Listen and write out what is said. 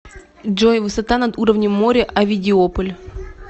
джой высота над уровнем моря овидиополь